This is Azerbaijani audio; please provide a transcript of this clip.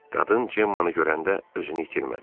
Qadın Cemmanı görəndə özünü itirmədi.